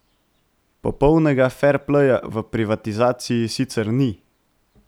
Popolnega ferpleja v privatizaciji sicer ni.